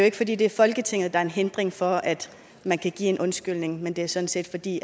ikke fordi det er folketinget der er en hindring for at man kan give en undskyldning men det er sådan set fordi